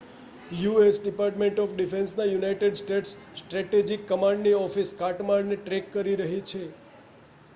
US department of ડિફેન્સના United States strategic કમાન્ડની office કાટમાળને ટ્રૅક કરી રહી છે